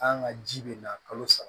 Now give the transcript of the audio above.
An ka ji bɛ na kalo saba